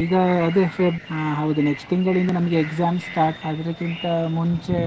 ಈಗ ಅದೇ Feb~ ಆ ಹೌದು next ತಿಂಗಳಿಂದ ನಮ್ಗೆ exams start , ಅದ್ರಕ್ಕಿಂತ ಮುಂಚೆ